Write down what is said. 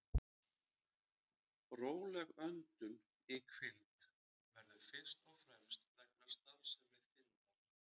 Róleg öndun í hvíld verður fyrst og fremst vegna starfsemi þindar.